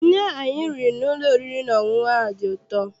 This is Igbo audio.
Nri ahụ anyị riri n'ụlọ oriri na ọṅụṅụ a dị ụtọ.